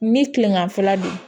Ni kilegan fɛla don